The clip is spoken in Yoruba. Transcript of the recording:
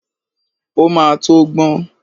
Ó máa tó gbọ́n.